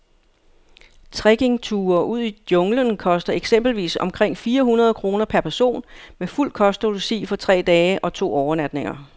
Trekkingture ud i junglen koster eksempelvis omkring fire hundrede kroner per person med fuld kost og logi for tre dage og to overnatninger.